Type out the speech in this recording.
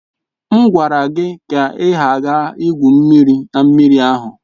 M gwara gị ka ị ghara igwu mmiri na mmiri ahụ!